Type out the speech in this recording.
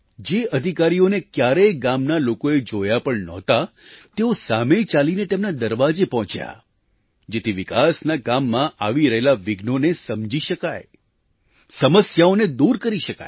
જે અધિકારીઓને કયારેય ગામના લોકોએ જોયા પણ નહોતા તેઓ સામે ચાલીને તેમના દરવાજે પહોંચ્યા જેથી વિકાસના કામમાં આવી રહેલાં વિઘ્નોને સમજી શકાય સમસ્યાઓને દૂર કરી શકાય